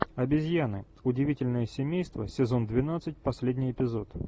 обезьяны удивительное семейство сезон двенадцать последний эпизод